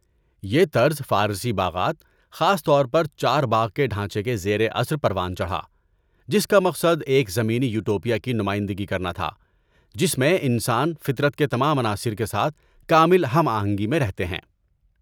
یہ طرز فارسی باغات، خاص طور پر چارباغ کے ڈھانچے سے کے زیر اثر پروان چڑھا، جس کا مقصد ایک زمینی یٹوپیا کی نمائندگی کرنا تھا جس میں انسان فطرت کے تمام عناصر کے ساتھ کامل ہم آہنگی میں رہتے ہیں۔